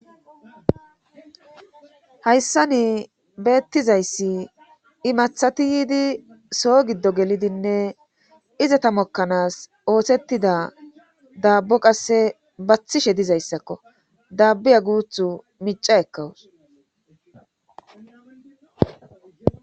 hayssani beettizayssi imathati yiidi soo giddo gelidinne iza tamokkanaas oothettida daabbo qasse bathishe dizayssakko dabbiya guuthu mica ekkawus